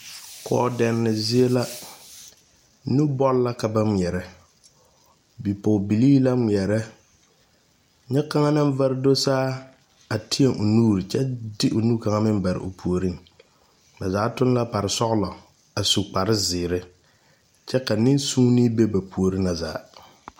Kɔɔdɛnne zie la nubɔl la ka ba ngmeɛɛrɛ bipɔɔbilee la ngmeɛɛrɛ nyɛ kaŋa naŋ vare do saa a teɛ o nuure kye de o nu kaŋa meŋ bare o puoriŋ ba zaa tuŋ la pare sɔglɔ a su kpare zeere kyɛ ka neŋ suunee be ba puore na zaa.